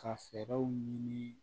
Ka fɛɛrɛw ɲini